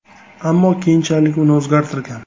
Ammo keyinchalik uni o‘zgartirgan.